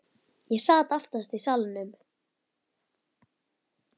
Ég sat aftast í salnum.